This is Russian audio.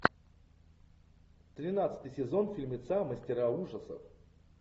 тринадцатый сезон фильмеца мастера ужасов